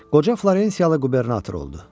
Qoca Florensiyalı qubernator oldu.